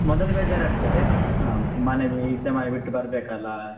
ಮೊದಲು ಬೇಜಾರ್ ಆಗ್ತದೆ ಆಹ್ ಮನೆ ಇದ್ದ ಮನೆ ಬಿಟ್ಟು ಬರ್ಬೇಕಲ್ಲಾ ಆಹ್.